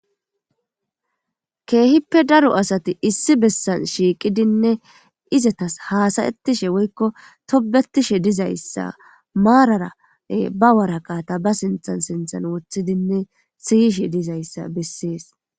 Keehippe daro asati issi bessan shiiqidinne izatas haasayettishe woykko tobetishe dizayssa maarara ba waraqata ba sinthan sinthan wothidinne siyishe dizayssa bessees